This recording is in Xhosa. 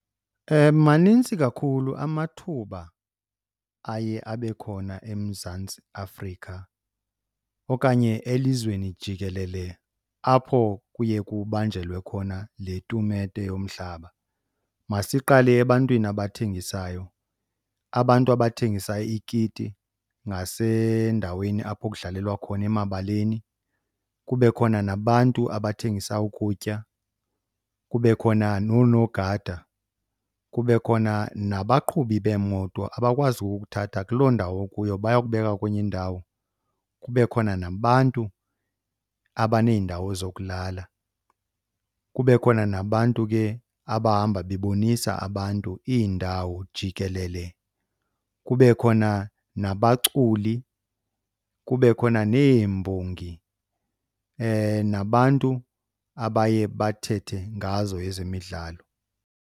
Manintsi kakhulu amathuba aye abe khona eMzantsi Afrika okanye elizweni jikelele apho kuye kubanjelwe khona le tumente yomhlaba. Masiqale ebantwini abathengisayo. Abantu abathengisa iikiti ngasendaweni apho kudlalelwa khona emabaleni, kube khona nabantu abathengisa ukutya, kube khona noonogada, kube khona nabaqhubi beemoto abakwazi ukukuthatha kuloo ndawo ukuyo bayokubeka kwenye indawo. Kube khona nabantu abaneendawo zokulala, kube khona nabantu ke abahamba bebonisa abantu iindawo jikelele, kube khona nabaculi, kube khona neembongi nabantu abaye bathethe ngazo ezemidlalo.